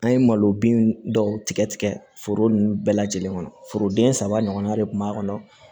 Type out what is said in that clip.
An ye malo bin dɔw tigɛ tigɛ foro nunnu bɛɛ lajɛlen kɔnɔ foroden saba ɲɔgɔnna de kun b'a kɔnɔ